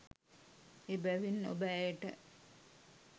එබැවින් ඔබ ඇයට